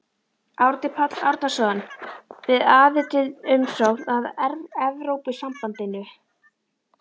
Árni Páll Árnason: Við aðildarumsókn að Evrópusambandinu?